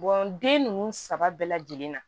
den ninnu saba bɛɛ lajɛlen na